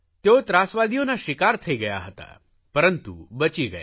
તેઓ ત્રાસવાદીઓના શિકાર થઇ ગયા હતા પરંતુ બચી ગયા